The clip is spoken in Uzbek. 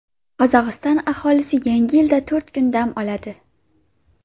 Qozog‘iston aholisi Yangi yilda to‘rt kun dam oladi.